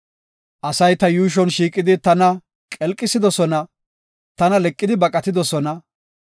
Asay ta yuushon shiiqidi tana qelqisidosona; tana leqidi baqidosona.